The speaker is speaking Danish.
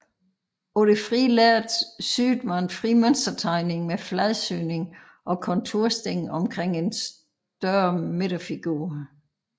På det frie lærred syede man fri mønstertegning med fladsyning og kontursting omkring en større midterfigur